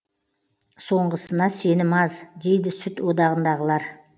соңғысына сенім аз дейді сүт одағындағылар